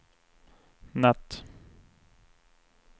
natt